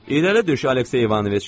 İrəli düş, Aleksey İvanoviç.